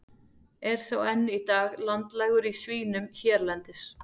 Er sá enn í dag landlægur í svínum hérlendis.